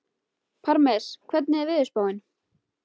Parmes, hvernig er veðurspáin?